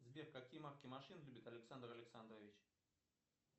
сбер какие марки машин любит александр александрович